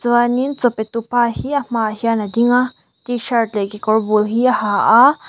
chuanin chaw petu pa hi a hmaah hian a dinga tshirt leh kekawr bul hi a ha a.